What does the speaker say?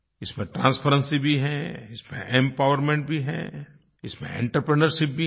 इसमें ट्रांसपेरेंसी भी है इसमें एम्पावरमेंट भी है इसमें आंत्रप्रिन्योरशिप भी है